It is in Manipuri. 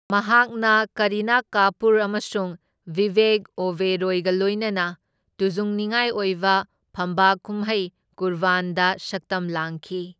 ꯃꯍꯥꯛꯅ ꯀꯔꯤꯅꯥ ꯀꯥꯄꯨꯔ ꯑꯃꯁꯨꯡ ꯕꯤꯕꯦꯛ ꯑꯣꯕꯦꯔꯣꯏꯒ ꯂꯣꯏꯅꯅ ꯇꯨꯖꯨꯡꯅꯤꯉꯥꯏ ꯑꯣꯏꯕ ꯐꯝꯕꯥꯛ ꯀꯨꯝꯍꯩ ꯀꯨꯔꯕꯥꯟꯗ ꯁꯛꯇꯝ ꯂꯥꯡꯈꯤ꯫